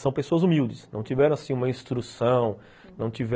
São pessoas humildes, não tiveram uma instrução. Não tiveram